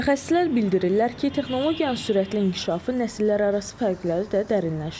Mütəxəssislər bildirirlər ki, texnologiyanın sürətli inkişafı nəsillərarası fərqləri də dərinləşdirib.